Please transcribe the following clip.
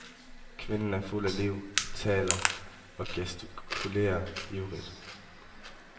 Kvinden er fuld af liv, taler og gestikulerer ivrigt.